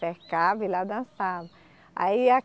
Cercavam e lá dançavam. Aí a